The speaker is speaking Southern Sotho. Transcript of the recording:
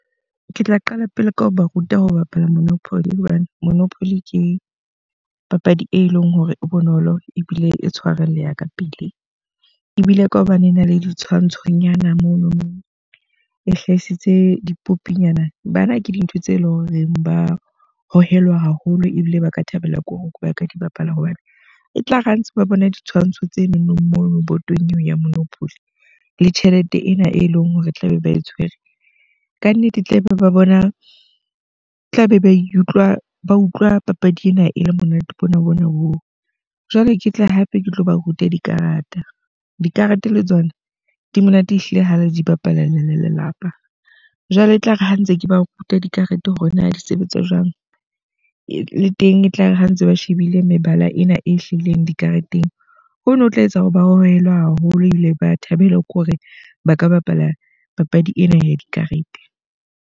Ke tla qala pele ka ho ba ruta ho bapala monopoly hobane monopoly ke papadi e leng hore e bonolo ebile e tshwarelleha ka pele. Ebile ka hobane e na le ditshwantshonyana monono e hlahisitse dipopinyana. Bana ke dintho tse leng horeng ba hohelwa haholo ebile ba ka thabela ko hore ba ka di bapala. Hobane e tlare ha ntse ba bone ditshwantsho tse nonong moo botong eo ya monopoly, le tjhelete ena e leng hore tla be ba e tshwere. Ka nnete e tlaba bona tlabe ba ikutlwa ba utlwa papadi ena e le monate bona ho na hoo. Jwale ke tle hape ke tlo ba ruta dikarata. Dikarete le tsona di monate ehlile ha le di bapala le le lelapa. Jwale le etlare ha ntse ke ba ruta dikarete, hore na di sebetsa jwang le teng. Etlare ha ntse ba shebile mebala ena e hlahileng dikareteng. Hono ho tla etsa hore ba hohelwa haholo ebile ba thabela kore ba ka bapala papadi ena ya dikarete.